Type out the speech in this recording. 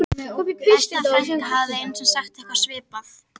Besta frænka hafði einu sinni sagt eitthvað svipað